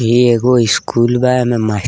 ई एगो स्कूल बा एमें मासट --